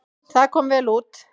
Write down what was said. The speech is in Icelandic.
Það kom vel út.